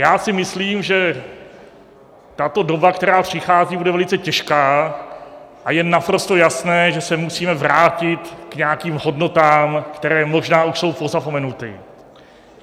Já si myslím, že tato doba, která přichází, bude velice těžká, a je naprosto jasné, že se musíme vrátit k nějakým hodnotám, které možná už jsou pozapomenuty.